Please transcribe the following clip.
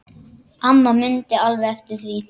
Amma mundi alveg eftir því.